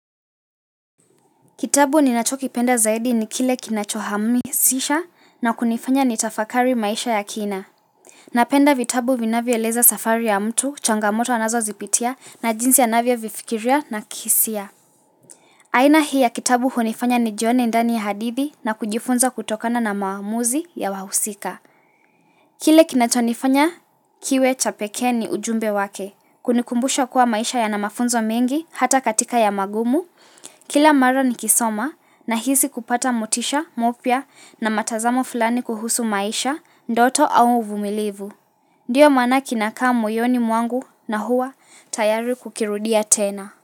Kitabu ni nacho kipenda zaidi ni kile kinachohamasisha na kunifanya ni tafakari maisha ya kina. Ninapenda vitabu vinavyoeleza safari ya mtu, changamoto anazo zipitia na jinsi anavyo vifikiria na kihisia. Aina hii ya kitabu hunifanya nijione ndani ya hadithi na kujifunza kutokana na maamuzi ya wahusika. Kile kinachonifanya kiwe chapeke ni ujumbe wake, kunikumbusha kuwa maisha ya na mafunzo mengi hata katika ya magumu, Kila mara ni kisoma ninahisi kupata motisha, mpya na matazamo fulani kuhusu maisha, ndoto au uvumilivu. Ndiyo maana kinakaa moyoni mwangu na huwa tayari kukirudia tena.